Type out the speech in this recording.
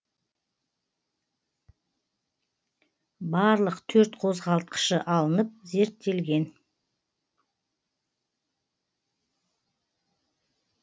барлық төрт қозғалтқышы алынып зерттелген